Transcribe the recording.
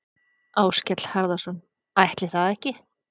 Áskell Harðarson: Ætli það ekki?